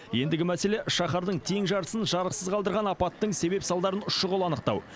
ендігі мәселе шаһардың тең жартысын жарықсыз қалдырған апаттың себеп салдарын шұғыл анықтау